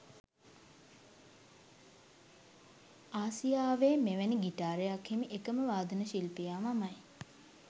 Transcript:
ආසියාවේ මෙවැනි ගිටාරයක් හිමි එකම වාදන ශිල්පියා මමයි.